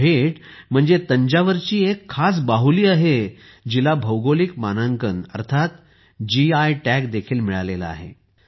ही भेट म्हणजे तंजावरची एक खास बाहुली आहे जिला भौगोलिक मानांकन अर्थात जीआय टॅग देखील मिळाला आहे